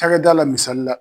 Cakɛdala misali la